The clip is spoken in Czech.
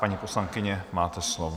Paní poslankyně, máte slovo.